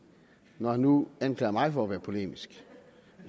når han nu anklager mig for at være polemisk